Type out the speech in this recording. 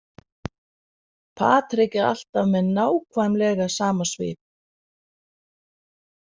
Patrik er alltaf með nákvæmlega sama svip.